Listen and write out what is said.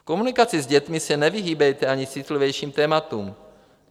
V komunikaci s dětmi se nevyhýbejte ani citlivějším tématům.